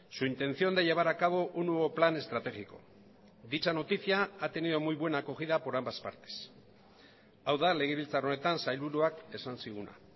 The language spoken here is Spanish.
su intención de llevar a cabo un nuevo plan estratégico dicha noticia ha tenido muy buena acogida por ambas partes hau da legebiltzar honetan sailburuak esan ziguna